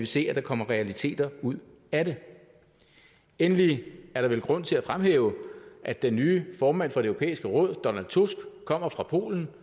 se at der kommer realiteter ud af det endelig er der vel grund til at fremhæve at den nye formand for det europæiske råd donald tusk kommer fra polen